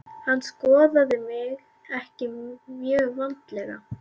Hann skoðaði mig ekki mjög vandlega.